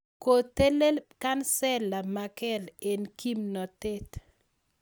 Kotelel Kansela Merkel eng kimnotet.